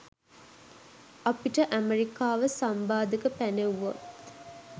අපිට ඇමරිකාව සම්බාධක පැනෙව්වොත්